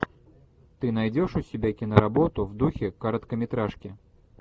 ты найдешь у себя киноработу в духе короткометражки